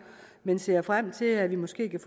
men ser frem til at vi måske kan